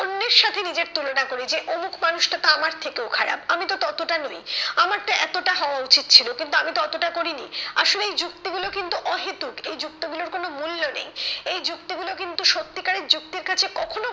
অন্যের সাথে নিজের তুলনা করি যে অমুক মানুষটা তো আমার থেকেও খারাপ আমি তো ততটা নই আমার তো এতটা হওয়া উচিত ছিল কিন্তু আমি তো অতটা করিনি, আসলে এই যুক্তি গুলো কিন্তু অহেতুক এই যুক্তি গুলোর কোনো মূল্য নেই এই যুক্তি গুলো কিন্তু সত্যিকারের যুক্তির কাছে কখনোই